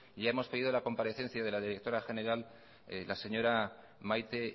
ya hemos pedido la comparecencia de la directora general la señora maite